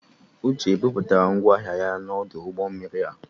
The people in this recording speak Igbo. Uche e butere ngwa ahịa ya n'ọdụ ụgbọ mmiri a?